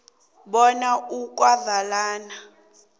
bona ukuvalwa kweenkolo